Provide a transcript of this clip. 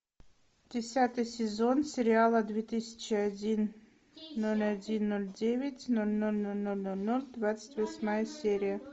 десятый сезон сериала две тысячи один ноль один ноль девять ноль ноль ноль ноль ноль ноль двадцать восьмая серия